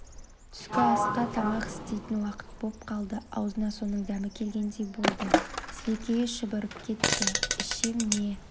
түскі тамақ істейтін уақыт боп қалды аузына соның дәмі келгендей болды сілекейі шұбырып кетті ішем не